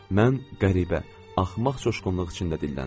Mən qəribə, axmaq coşqunluq içində dilləndim.